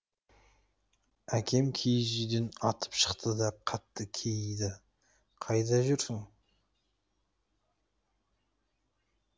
әкем киіз үйден атып шықты да қатты кейіді қайда жүрсің